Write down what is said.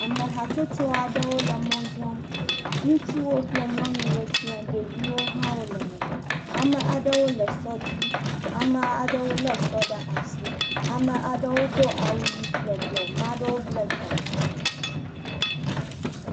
Ame hatsotso aɖewo le mɔ zɔm, nutsɔwo kple nyɔnuwo siã, ɖeviwo hã wole me, ame aɖewo le esɔ dzi, ame aɖewo lé sɔ ɖe asi, ame aɖewo do awu ʋi kple blɔ, maɖewo blɛ ta.